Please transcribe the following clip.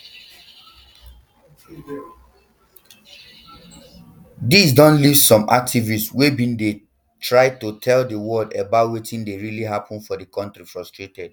dis don leave some activists wey bin don dey try to tell di world about wetin dey really happun for di kontri frustrated